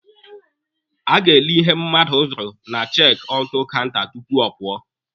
A ga-ele ihe mmadụ zụrụ na chek aụtụ kaụnta tupu ọ pụọ.